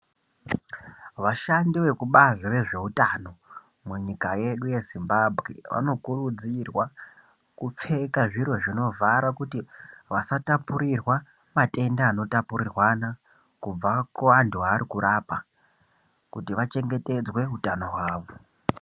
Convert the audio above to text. Vashandi vekubazi rezveutano munyika yedu yeZimbabwe vano kurudzirwa kupfeka zviro zvinovhara kuti vasatapurirwa matenda anotapurirwana kubva kuantu aarikurapa kuti vachengetedzwe utano hwavo.